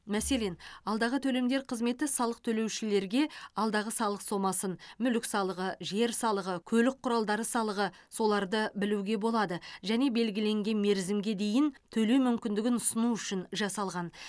мәселен алдағы төлемдер қызметі салық төлеушілерге алдағы салық сомасын мүлік салығы жер салығы көлік құралдары салығы соларды білуге болады және белгіленген мерзімге дейін төлеу мүмкіндігін ұсыну үшін жасалған